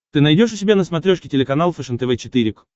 ты найдешь у себя на смотрешке телеканал фэшен тв четыре к